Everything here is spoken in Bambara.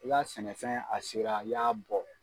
U ka sɛnɛfɛn a sera i y'a bɔ